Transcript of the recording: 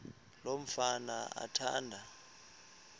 lo mfana athanda